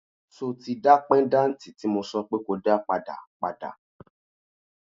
So tí dá péńdàtì tí mo sọ pé ko dá padà, padà?